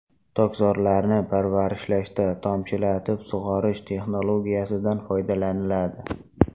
Tokzorlarni parvarishlashda tomchilatib sug‘orish texnologiyasidan foydalaniladi.